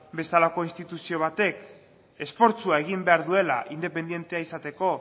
bezalako instituzio batek esfortzua egin behar duela independentea izateko